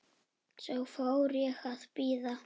Svo fór ég að bíða.